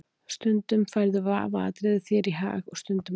Stundum færðu vafaatriði þér í hag og stundum ekki.